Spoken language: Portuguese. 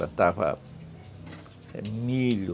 Plantava milho.